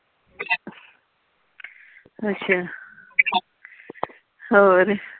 ਅੱਛਾ ਹੋਰ।